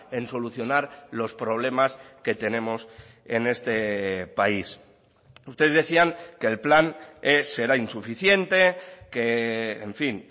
en solucionar los problemas que tenemos en este país ustedes decían que el plan será insuficiente que en fin